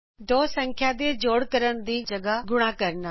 ਦੋ ਸੰਖਿਆ ਦੇ ਜੋੜ ਕਰਨ ਦੀ ਜਗ੍ਹ ਗੁਣਾ ਕਰਨਾ